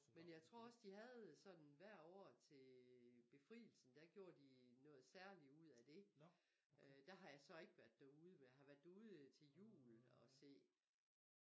Men jeg tror også de havde sådan hver år til befrielsen der gjorde de noget særligt ud af det øh der har jeg så ikke været derude men jeg har været derude til jul og se